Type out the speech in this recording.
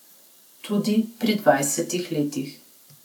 Tudi pri dvajsetih letih.